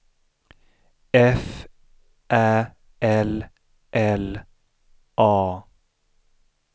F Ä L L A